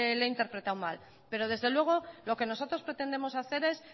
le he interpretado mal pero desde luego lo que nosotros pretendemos hacer es